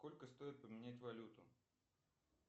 сколько стоит поменять валюту